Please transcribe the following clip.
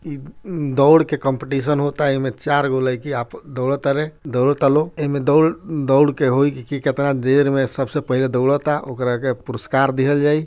इ दौड़ के काम्पिटिशन होता इ में चार गो लईकी दौड़ा तारे दौड़ता लोग एमे दौड़ के होइ की कितना देर में सबसे पहले दौड़ता ओकरा के पुरस्कार दिहल जाइ।